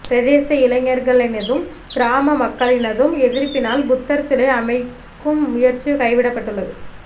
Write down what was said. பிரதேச இளைஞர்களினதும் கிராம மக்களினதும் எதிர்பினால் புத்தர் சிலை அமைக்கும் முயற்சி கைவிடப்பட்டுள்ளது